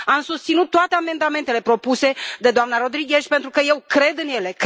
Am susținut toate amendamentele propuse de doamna Rodriguez pentru că eu cred în ele.